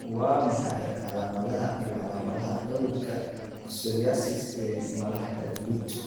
Waa maxay calaamadaha iyo calaamadaha cudurka psoriasis ee malaxda guud?